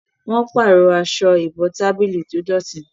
wón parọ Aṣọ ìbotábílì tó dọti